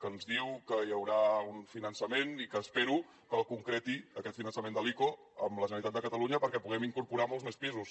que ens diu que hi haurà un finançament i que espero que el concreti aquest finançament de l’ico amb la generalitat de catalunya perquè puguem incorporar molts més pisos